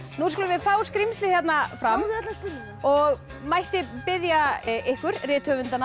nú skulum við fá skrímslið hérna fram og mætti ég biðja ykkur rithöfundana